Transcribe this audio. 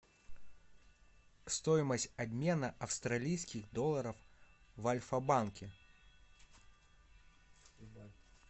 стоимость обмена австралийских долларов в альфабанке